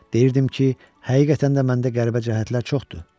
Deyirdim ki, həqiqətən də məndə qəribə cəhətlər çoxdur.